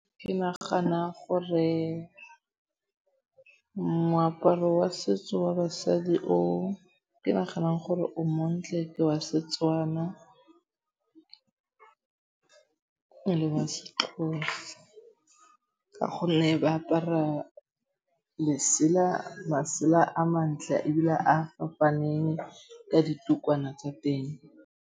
Ke nagana gore moaparo wa setso wa basadi o ke naganang gore o montle ke wa Setswana le wa Sexhosa ka gonne ba apara masela a mantle ebile a fapaneng ka ditukwana tsa teng.